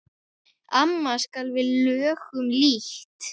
Amast skal við lögnum lítt.